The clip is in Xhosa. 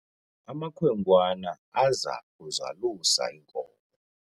amakhwenkwana aza kuzalusa iinkomo